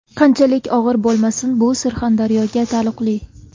Qanchalik og‘ir bo‘lmasin, bu Surxondaryoga taalluqli.